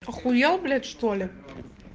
ахуел блять что ли